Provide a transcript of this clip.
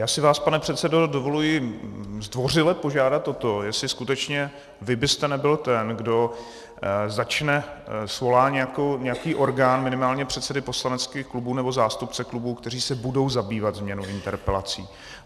Já si vás, pane předsedo, dovoluji zdvořile požádat o to, jestli skutečně vy byste nebyl ten, kdo začne - svolá nějaký orgán, minimálně předsedy poslaneckých klubů nebo zástupce klubů, kteří se budou zabývat změnou interpelací.